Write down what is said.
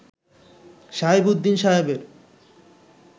শাহেব উদ্দিন সাহেবের